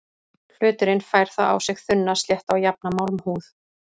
Hluturinn fær þá á sig þunna, slétta og jafna málmhúð.